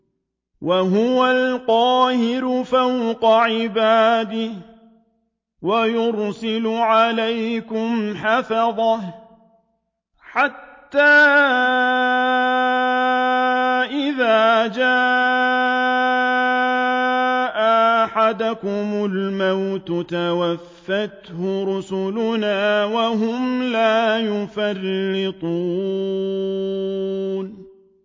وَهُوَ الْقَاهِرُ فَوْقَ عِبَادِهِ ۖ وَيُرْسِلُ عَلَيْكُمْ حَفَظَةً حَتَّىٰ إِذَا جَاءَ أَحَدَكُمُ الْمَوْتُ تَوَفَّتْهُ رُسُلُنَا وَهُمْ لَا يُفَرِّطُونَ